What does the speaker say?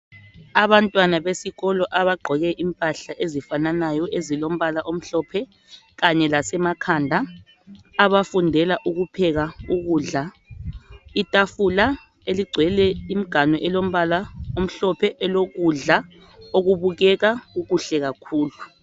Abantwana besikolo abagqoke impahla ezifananayo ezilombala omhlophe kanye lasemakhanda abafundela ukupheka ukudla .Itafula eligcwele imganu elombala omhlophe elokudla okubukeka kuhle kakhulu.